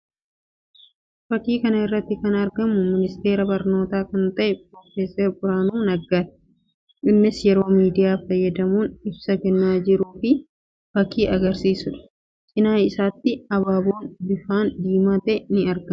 Fakkii kana irratti kan argamu ministeeraa barnootaa kan ta'e piroofeeser Biraanuu Naggaa ti. Innis yeroo miidiyaa fayyadamuun ibsa kennaa jiru ta'uu fakkii agarsiisuu dha. Cina isaattis abaaboon bifaan diimaa ta'e ni argama.